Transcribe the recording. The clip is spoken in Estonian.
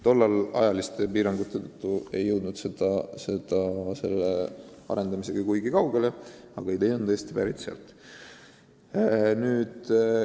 Tollal me ei jõudnud ajaliste piirangute tõttu selle arendamisega kuigi kaugele, aga idee on tõesti pärit sealt.